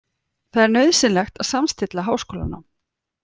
Það er nauðsynlegt að samstilla háskólanám